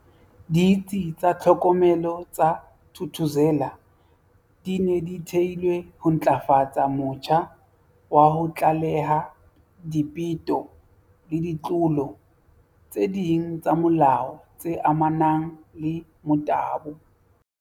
Ditsi tsa tlhokomelo tsa Thuthuzela di ne di theelwe ho ntlafatsa motjha wa ho tlaleha dipeto le ditlolo tse ding tsa molao tse amanang le motabo.